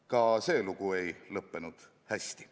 Ka see lugu ei lõppenud hästi.